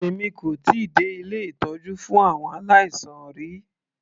Èmi kò tíì dé ilé ìtọ́jú fún àwọn aláìsàn rí.